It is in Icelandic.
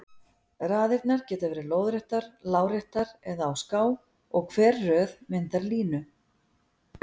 Raðirnar geta verið lóðréttar, láréttar eða á ská og hver röð myndar línu.